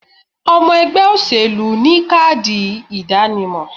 Omo ègbé òṣèlú ni káàdì ìdánimo